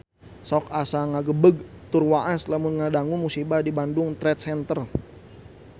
Sok asa ngagebeg tur waas lamun ngadangu musibah di Bandung Trade Center